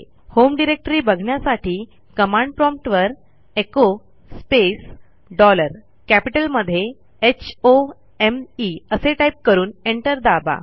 home directory बघण्यासाठी command prompt वरecho space dollar कॅपिटलमध्ये होम असे टाईप करून एंटर दाबा